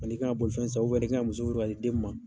Ani i kan ka bolifɛn san ni kan ka muso furu ka di den min ma.